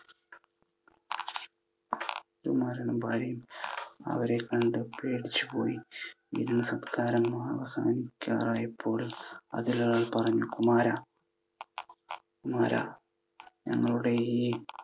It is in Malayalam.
രാജകുമാരനും ഭാര്യയും അവരെ കണ്ടു പേടിച്ചു പോയി. വിരുന്നു സൽക്കാരം അവസാനിക്കാറായപ്പോൾ അതിലൊരാൾ പറഞ്ഞു, കുമാര, കുമാര, ഞങ്ങളുടെ ഈ